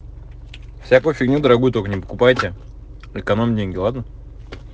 всякую фигню дорогую только не покупайте экономь деньги ладно